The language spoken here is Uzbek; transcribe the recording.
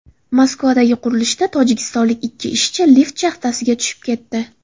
Moskvadagi qurilishda tojikistonlik ikki ishchi lift shaxtasiga tushib ketdi.